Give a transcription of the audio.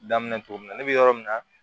Daminɛ cogo min na ne bɛ yɔrɔ min na